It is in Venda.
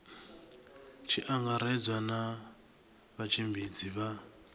tshi angaredzwa na vhatshimbidzi vha